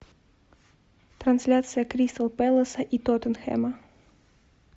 трансляция кристал пэласа и тоттенхэма